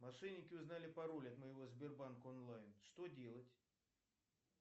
мошенники узнали пароль от моего сбербанка онлайн что делать